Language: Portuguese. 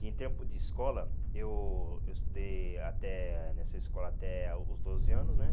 Que em tempo de escola, eu eu estudei até nessa escola até ah os doze anos, né?